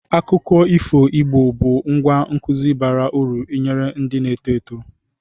Akụkọ ifo Igbo bụ ngwá nkụzi bara uru nyere ndị na-eto eto.